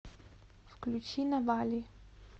включи навали